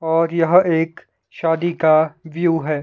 और यह एक शादी का व्यू है।